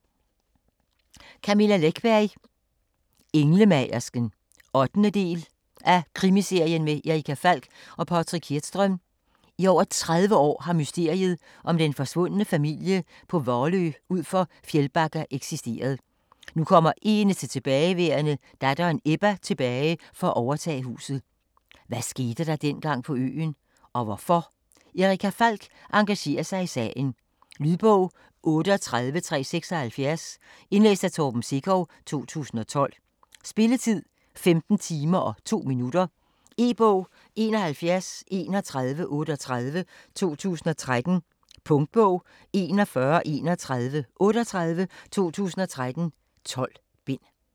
Läckberg, Camilla: Englemagersken 8. del af Krimiserien med Erica Falck og Patrik Hedström. I over 30 år har mysteriet om den forsvundne familie på Valö ud for Fjällbacka eksisteret. Nu kommer eneste tilbageværende, datteren Ebba, tilbage for at overtage huset. Hvad skete dengang på øen? Og hvorfor? Erica Falck engagerer sig i sagen. Lydbog 38376 Indlæst af Torben Sekov, 2012. Spilletid: 15 timer, 2 minutter. E-bog 713138 2013. Punktbog 413138 2013. 12 bind.